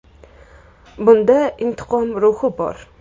Bunda intiqom ruhi bor.